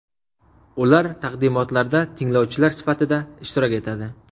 Ular taqdimotlarda tinglovchilar sifatida ishtirok etadi.